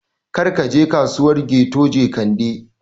Kar ka je Kasuwar Keto Jekande!